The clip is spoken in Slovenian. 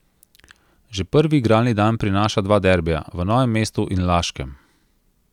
Že prvi igralni dan prinaša dva derbija, v Novem mestu in Laškem.